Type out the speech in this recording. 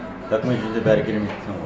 документ ол жерде бәрібір келмейді дейсің ғой